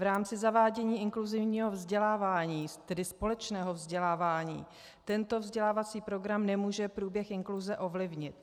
V rámci zavádění inkluzivního vzdělávání, tedy společného vzdělávání, tento vzdělávací program nemůže průběh inkluze ovlivnit.